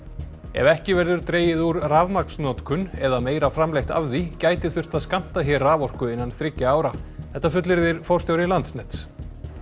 ef ekki verður dregið úr rafmagnsnotkun eða meira framleitt af því gæti þurft að skammta hér raforku innan þriggja ára þetta fullyrðir forstjóri Landsnets